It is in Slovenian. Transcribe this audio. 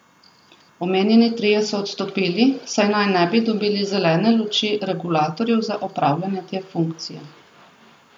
Omenjeni trije so odstopili, saj naj ne bi dobili zelene luči regulatorjev za opravljanje te funkcije.